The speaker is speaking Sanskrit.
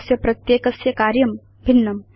तस्य प्रत्येकस्य कार्यं भिन्नम्